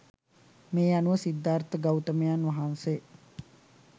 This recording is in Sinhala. මේ අනුව සිද්ධාර්ථ ගෞතමයන් වහන්සේ